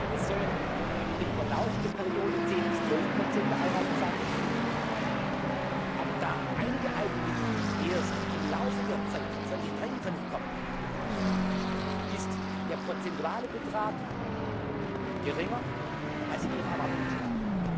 Es sollen über den Verlauf der Periode 10 bis 12 der Einnahmen sein. Aber da einige Eigenmittel erst im Laufe der Zeit 2023 kommen, ist der prozentuale Betrag geringer, als er Ihrer Erwartung entsprach.